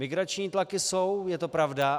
Migrační tlaky jsou, je to pravda.